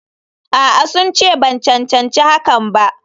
A'a, sun ce ban cancanci hakan ba.